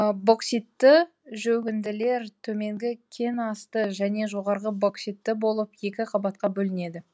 бокситті жөгінділер төменгі кен асты және жоғарғы бокситті болып екі қабатқа бөлінеді